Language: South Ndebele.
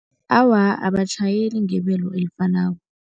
Awa, abatjhayeli ngebelo elifanako.